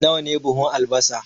Nawa ne buhun albasa?